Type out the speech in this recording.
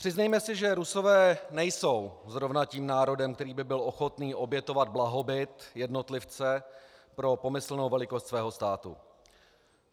Přiznejme si, že Rusové nejsou zrovna tím národem, který by byl ochoten obětovat blahobyt jednotlivce pro pomyslnou velikost svého státu.